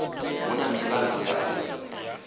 hu na mivhango ya u